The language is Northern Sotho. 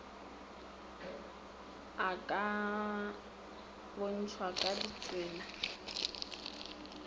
a ka bontšhwa ka ditsela